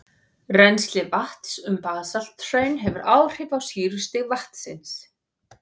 Rennsli vatns um basalthraun hefur áhrif á sýrustig vatnsins.